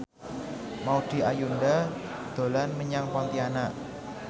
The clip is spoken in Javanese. Maudy Ayunda dolan menyang Pontianak